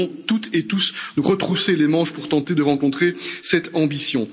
Nous devons toutes et tous nous retrousser les manches pour tenter de répondre à cette ambition.